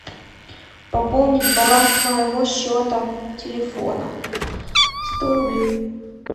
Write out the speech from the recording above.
пополнить баланс моего счета телефона сто рублей